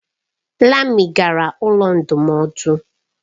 Lami gara ụlọ ndụmọdụ.